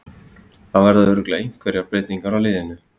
Það verða örugglega einhverjar breytingar á liðinu.